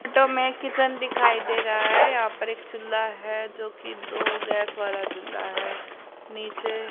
to में kitchen दिखाई दे रहा है यहां पर एक चूल्हा है जोकि दो गैस वाला चूल्हा है नीचे--